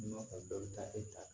N'i ma kɔn mi taa e ta